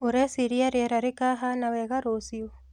ũreciria rĩera rĩkahana wega rũcio?